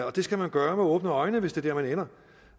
og det skal man gøre med åbne øjne hvis det er der man ender